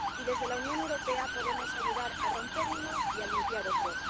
Y, desde la Unión Europea, podemos ayudar a romper uno y a limpiar otro.